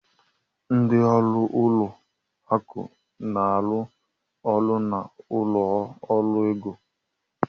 Ndị ọrụ ụlọ akụ na-arụ ọrụ na ụlọ ọrụ ego